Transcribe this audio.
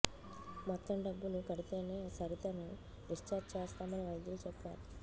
మొత్తం డబ్బులు కడితేనే సరితను డిశ్చార్జ్ చేస్తామని వైద్యులు చెప్పారు